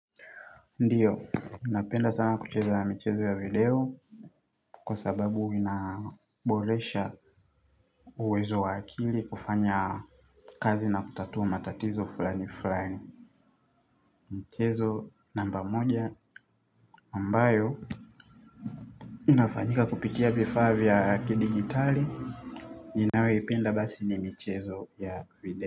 Ndiyo, napenda sana kucheza michezo ya video. Kwa sababu inaboresha uwezo wa akili kufanya kazi na kutatua matatizo fulani fulani. Mchezo namba moja ambayo inafanyika kupitia vifaa vya kidigitali ninayo ipenda basi ni michezo ya video.